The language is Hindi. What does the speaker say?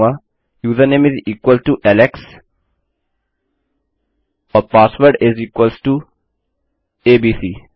मैं कहूँगा यूजरनेम इस इक्वल टो बराबर है एलेक्स के और password is equal to ABC